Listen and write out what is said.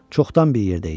Çoxdan bir yerdəyik.